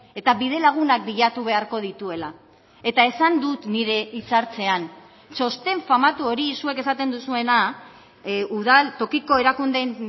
eta bidelagunak bilatu beharko dituela eta esan dut nire hitz hartzean txosten famatu hori zuek esaten duzuena udal tokiko erakundeen